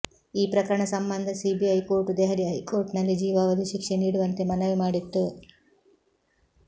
ಈ ಪ್ರಕರಣ ಸಂಬಂಧ ಸಿಬಿಐ ಕೋರ್ಟ್ ದೆಹಲಿ ಹೈಕೋರ್ಟ್ ನಲ್ಲಿ ಜೀವಾವಧಿ ಶಿಕ್ಷೆ ನೀಡುವಂತೆ ಮನವಿ ಮಾಡಿತ್ತು